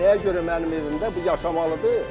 Nəyə görə mənim evimdə bu yaşamalıdır?